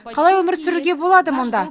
қалай өмір сүруге болады мұнда